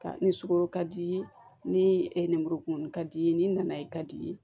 Ka ni sukoro ka di i ye nimuru kumuni ka di i ye ni nana ye ka di i ye